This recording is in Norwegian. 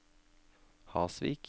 Hasvik